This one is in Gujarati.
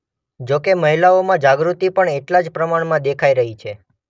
જો કે મહિલાઓમાં જાગૃતિ પણ એટલા જ પ્રમાણમાં દેખાઇ રહી છે.